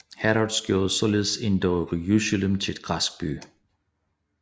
Herodes gjorde således endog Jerusalem til en græsk by